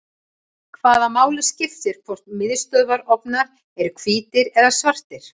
hvaða máli skiptir hvort miðstöðvarofnar eru hvítir eða svartir